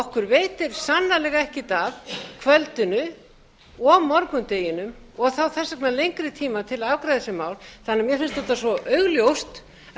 okkur veitir sannarlega ekkert af kvöldinu og morgundeginum og þá þess vegna lengri tíma til að afgreiða þessi mál mér finnst þetta svo augljóst að við